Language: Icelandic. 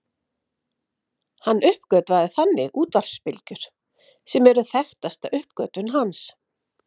Hann uppgötvaði þannig útvarpsbylgjur sem eru þekktasta uppgötvun hans.